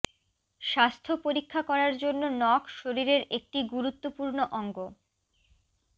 স্বাস্থ্য পরীক্ষা করার জন্য নখ শরীরের একটি গুরুত্বপূর্ণ অঙ্গ